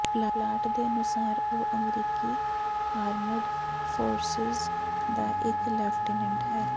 plot ਦੇ ਅਨੁਸਾਰ ਉਹ ਅਮਰੀਕੀ ਆਰਮਡ ਫੋਰਸਿਜ਼ ਦਾ ਇੱਕ ਲੈਫਟੀਨੈਂਟ ਹੈ